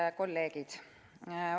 Head kolleegid!